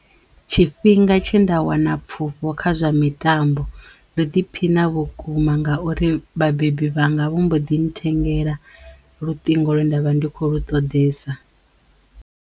Tshifhinga tshe nda wana pfufho kha zwa mitambo ndo ḓiphiṋa vhukuma ngauri vhabebi vhanga vho mbo ḓi nthengela luṱingo lwe ndavha ndi kho lu ṱoḓesa.